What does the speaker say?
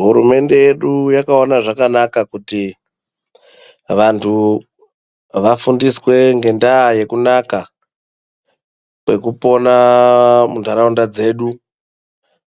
Hurumende yedu yakaona zvakanaka kuti vantu vafundiswe ngedaa yekunaka kwekupona muntaraunda dzedu .